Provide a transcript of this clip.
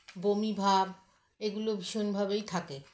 বমি ভাব এগুলো ভীষণ ভাবেই থাকে